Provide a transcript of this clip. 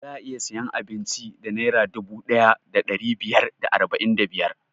Za'a iya siyan abinci da naira dubu ɗaya da ɗari biyar da arba'in da biyar